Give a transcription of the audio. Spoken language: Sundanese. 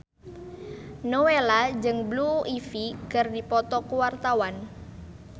Nowela jeung Blue Ivy keur dipoto ku wartawan